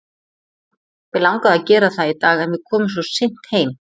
Mig langaði að gera það í dag en við komum svo seint heim.